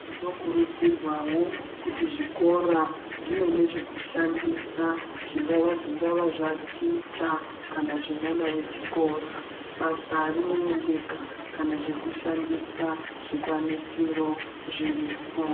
Zvinokurudzirwawo kuti zvikora zvive nezvekushandisa zvingava zvingava zvaticha kana zvemwana wechikora ,basa rinoendeka kana zvekushandisa zvikwanisiro zviripo.